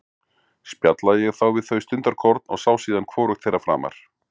Spjallaði ég þá við þau stundarkorn og sá síðan hvorugt þeirra framar.